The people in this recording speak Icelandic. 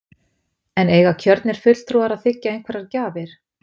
En eiga kjörnir fulltrúar að þiggja einhverjar gjafir?